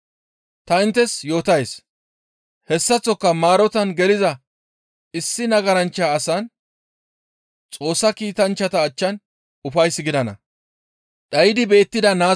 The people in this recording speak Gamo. Ta inttes yootays; ‹Hessaththoka maarotan geliza issi nagaranchcha asan Xoossa kiitanchchata achchan ufays gidana.›